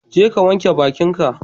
Jeka ka wanke bakinka.